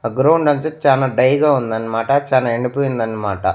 ఆ గ్రౌండ్ నుంచి చానా డై గా ఉందన్నమాట చానా ఎండిపొయిందన్నమాట.